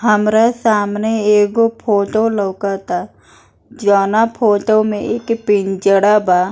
हमरा सामने एगो फोटो लउक ता जउना फोटो में एक पिंजरा बा।